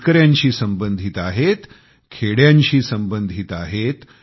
शेतकऱ्यांशी संबंधित आहेत खेड्यांशी संबंधित आहेत